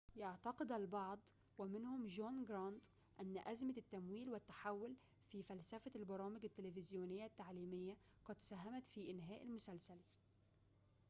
يعتقد البعض ومنهم جون جرانت أن أزمة التمويل والتحول في فلسفة البرامج التلفزيونية التعليمية قد ساهمت في إنهاء المسلسل